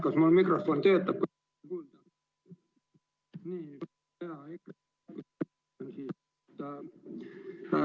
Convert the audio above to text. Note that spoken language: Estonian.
Kas mul mikrofon töötab?